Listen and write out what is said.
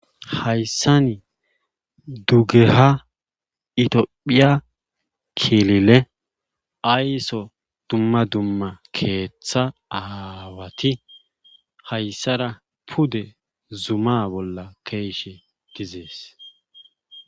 Haysan dugeha ithiyophiya kilile ayso dumma dumma keetha aawati haysara pude Zuma bolla ke'iishe dizes.